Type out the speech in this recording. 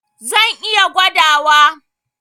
Zan iya gwadawa.